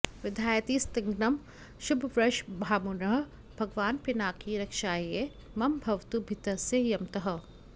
विधायातिस्निग्धं शुभवृषभमारुह्य भगवान् पिनाकी रक्षायै मम भवतु भीतस्य यमतः